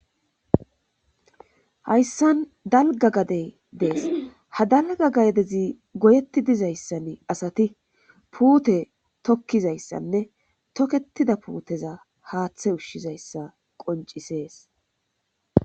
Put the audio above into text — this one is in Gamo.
hayssan dalga gadey dees ha dalga gadezi goyetti dizayssan asati puute tokkizayssanne tokketida puuteza haaththe ushshizayssa qoncisees